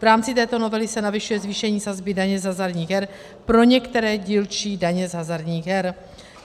V rámci této novely se navyšuje zvýšení sazby daně z hazardních her pro některé dílčí daně z hazardních her.